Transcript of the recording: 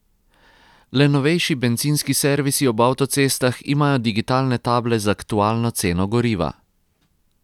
Le novejši bencinski servisi ob avtocestah imajo digitalne table z aktualno ceno goriva.